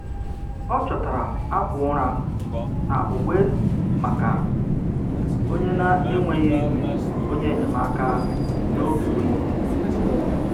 Ọ chọtara akwa ụra na uwe maka onye na-enweghị onye enyemaka n'oge oyi.